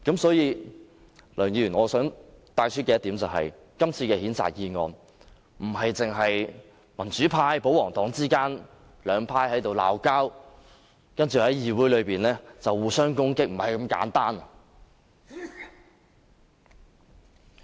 所以，梁議員，我想帶出一點，今次的譴責議案，不單是民主派與保皇黨之間的爭拗、在議會內互相攻擊，並非如此簡單。